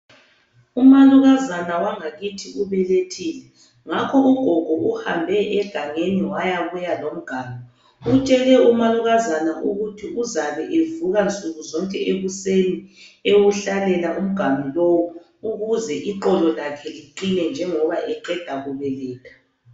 Umalukazana wangakithi ubelethile. Ngakho ugogo uhambe egangeni wayabuya lomganu. Utshele umalukazana ukuthi uzabedlula nsukuzonke ekuseni ewuhlalela umganu lowu ukuze iqolo lakhe liqine njengoba eqeda kubeletha.